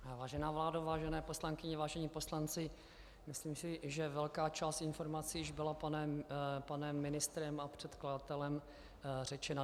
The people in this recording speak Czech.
Vážená vládo, vážené poslankyně, vážení poslanci, myslím si, že velká část informací již byla panem ministrem a předkladatelem řečena.